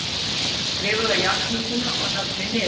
Skrifaðu játninguna og nöfnin niður.